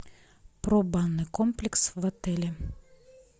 про банный комплекс в отеле